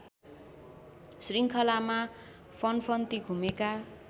शृङ्खलामा फन्फन्ती घुमेका